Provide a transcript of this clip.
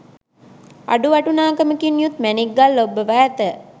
අඩු වටිනාකමකින් යුත් මැණික් ගල් ඔබ්බවා ඇත